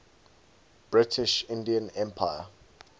british indian empire